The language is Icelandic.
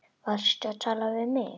Varstu að tala við mig?